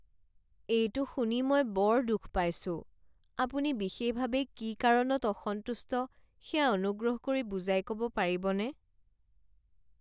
এইটো শুনি মই বৰ দুখ পাইছোঁ। আপুনি বিশেষভাৱে কি কাৰণত অসন্তুষ্ট সেয়া অনুগ্ৰহ কৰি বুজাই ক'ব পাৰিবনে?